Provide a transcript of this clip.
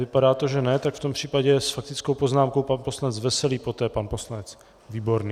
Vypadá to, že ne, tak v tom případě s faktickou poznámkou pan poslanec Veselý, poté pan poslanec Výborný.